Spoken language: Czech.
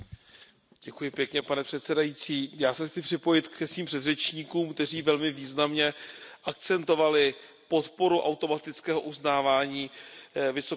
Pane předsedající, já se chci připojit ke svým předřečníkům, kteří velmi významně akcentovali podporu automatického uznávání vysokoškolských diplomů.